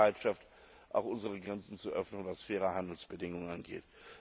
Aber auch unsere Bereitschaft, auch unsere Grenzen zu öffnen, was faire Handelsbedingungen angeht.